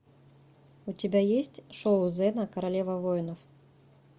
у тебя есть шоу зена королева воинов